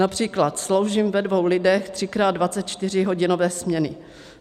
Například sloužím ve dvou lidech třikrát 24hodinové směny.